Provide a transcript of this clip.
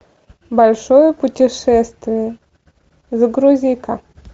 большое путешествие загрузи ка